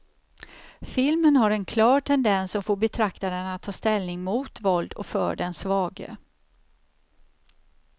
Filmen har en klar tendens som får betraktaren att ta ställning mot våld och för den svage.